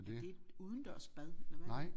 Er det et udendørs bad eller hvad er det